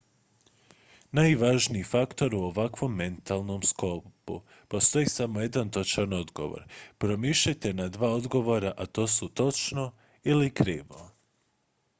najvažniji faktor u ovakvom metalnom sklopu postoji samo jedan točan odgovor pomišljate na dva odgovora a to su točno ili krivo